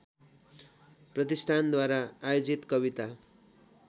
प्रतिष्ठानद्वारा आयोजित कविता